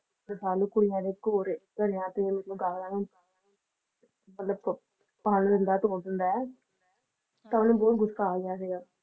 ਕੁੜੀਆਂ ਦੇ ਘੋਰੇ ਘੜਿਆਂ ਤੇ ਮਤਲਬ ਕਾਲਾ ਮਤਲਬ ਭੰਨ ਦਿੰਦਾ ਤੋੜ ਦਿੰਦਾ ਐ ਤਾਂ ਉਹਨੂੰ ਬਹੁਤ ਗੁੱਸਾ ਆ ਗਿਆ ਸੀਗਾ